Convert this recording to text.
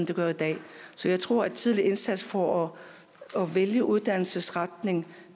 den er i dag så jeg tror at en tidligere indsats for at vælge uddannelsesretning